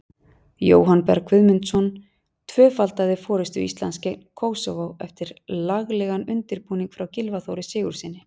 Jóhann Berg Guðmundsson tvöfaldaði forystu Íslands gegn Kósóvó eftir laglegan undirbúning frá Gylfa Þóri Sigurðssyni.